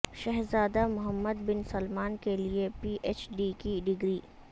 شہزادہ Mohammed bin Salman کیلئے P H D کی ڈگری